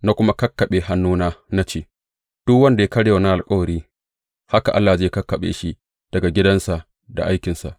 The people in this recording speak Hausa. Na kuma kakkaɓe hannuna, na ce, Duk wanda ya karya wannan alkawari, haka Allah zai kakkaɓe shi daga gidansa da aikinsa.